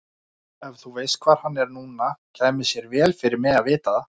Ef þú veist hvar hann er núna kæmi sér vel fyrir mig að vita það.